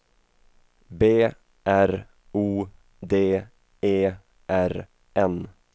B R O D E R N